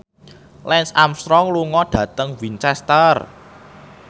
Lance Armstrong lunga dhateng Winchester